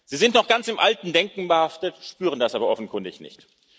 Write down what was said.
Sie sind noch ganz im alten Denken behaftet, spüren das aber offenkundig nicht.